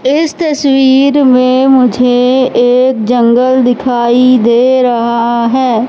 इस तस्वीर में मुझे एक जंगल दिखाई दे रहा है।